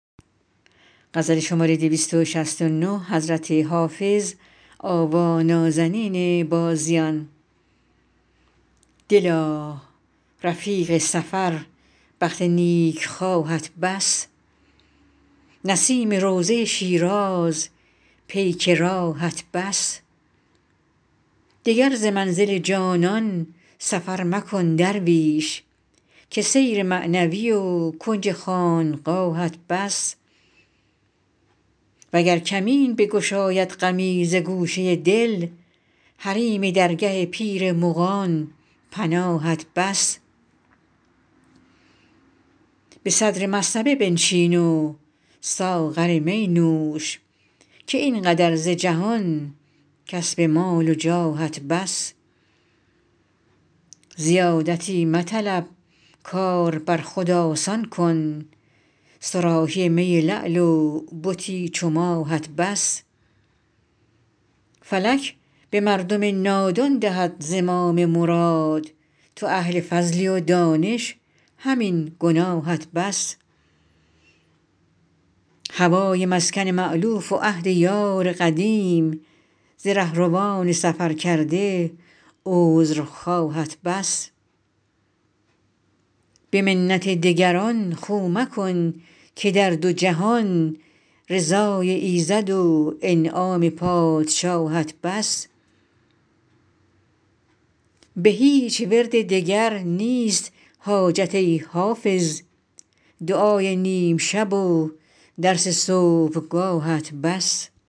دلا رفیق سفر بخت نیکخواهت بس نسیم روضه شیراز پیک راهت بس دگر ز منزل جانان سفر مکن درویش که سیر معنوی و کنج خانقاهت بس وگر کمین بگشاید غمی ز گوشه دل حریم درگه پیر مغان پناهت بس به صدر مصطبه بنشین و ساغر می نوش که این قدر ز جهان کسب مال و جاهت بس زیادتی مطلب کار بر خود آسان کن صراحی می لعل و بتی چو ماهت بس فلک به مردم نادان دهد زمام مراد تو اهل فضلی و دانش همین گناهت بس هوای مسکن مألوف و عهد یار قدیم ز رهروان سفرکرده عذرخواهت بس به منت دگران خو مکن که در دو جهان رضای ایزد و انعام پادشاهت بس به هیچ ورد دگر نیست حاجت ای حافظ دعای نیم شب و درس صبحگاهت بس